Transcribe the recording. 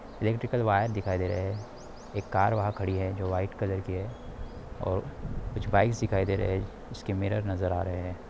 Electrical wire दिखाई दे रहे हैं एक कार वहां खड़ी हैं जो व्हाइट कलर और कुछ बाइकस दिखाई दे रहे हैं जिसके मिरर नजर आ रहे हैं।